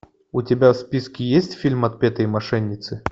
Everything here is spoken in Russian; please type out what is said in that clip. у тебя в списке есть фильм отпетые мошенницы